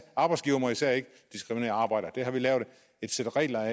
arbejdsgivere må især ikke diskriminere arbejdere det har vi lavet et sæt regler